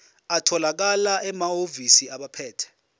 atholakala emahhovisi abaphethe